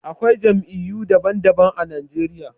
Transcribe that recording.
Akwai Jam'iyyu daban daban a Najeriya